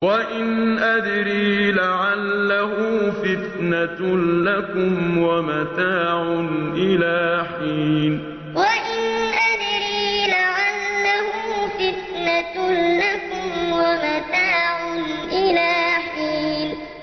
وَإِنْ أَدْرِي لَعَلَّهُ فِتْنَةٌ لَّكُمْ وَمَتَاعٌ إِلَىٰ حِينٍ وَإِنْ أَدْرِي لَعَلَّهُ فِتْنَةٌ لَّكُمْ وَمَتَاعٌ إِلَىٰ حِينٍ